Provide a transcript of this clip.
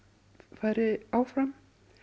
færi áfram